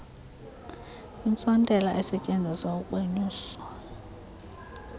intsontela esetyenziselwa ukunyusa